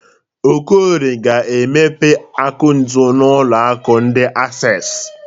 Okorie ga-emepe akaụntụ n'ụlọ akụ ndi Accessi.